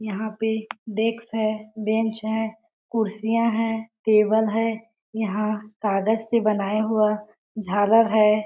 यह पे डेक्स है बेंच है कुर्सियां है टेबल है। यहाँ कागज से बनाया हुआ झालर है।